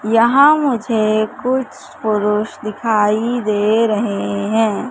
यहां मुझे कुछ पुरुष दिखाई दे रहे हैं।